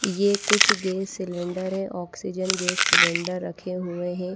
ये कुछ gas cylinder है ऑक्सीजन गैस सिलेंडर रखे हुए हैं।